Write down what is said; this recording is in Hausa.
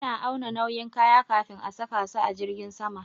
Ana auna nauyin kaya kafin a saka su a jirgin sama